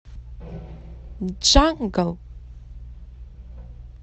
джангл